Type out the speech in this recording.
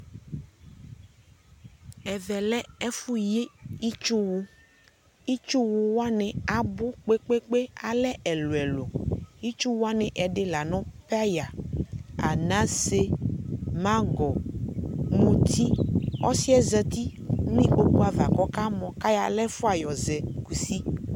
ɛvɛ lɛ ɛƒʋ yi itsʋ wʋ, itsʋ wʋwani abʋ kpekpekpe, alɛ ɛlʋɛlʋ ,itsʋ wʋbwani ɛdi lanʋ paya, anasɛ, mangɔ, mʋti, ɔsii zatinʋ ikpɔkʋ aɣa kʋ ɔka my kʋ ayɔ ala ɛƒʋa yɔzɛ kʋsi